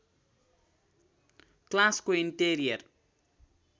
क्लासको इन्टेरियर